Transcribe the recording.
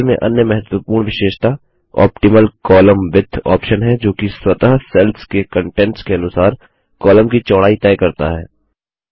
table में अन्य महत्वपूर्ण विशेषता ऑप्टिमल कोलम्न Widthऑप्शन है जो कि स्वतः सेल्स के कंटेंट्स के अनुसार कॉलम की चौड़ाई तय करता है